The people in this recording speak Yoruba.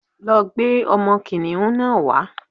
Lọ gbé ọmọ kìnìhún náà wá.